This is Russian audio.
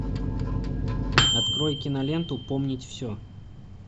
открой киноленту помнить все